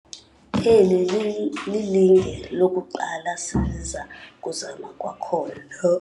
Eli lilinge lokuqala siza kuzama kwakhona.